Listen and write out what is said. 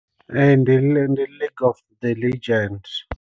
Ee ndi lake of the legend.